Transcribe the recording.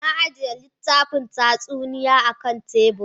Na ajiye littafin tatsuniya akan tebur.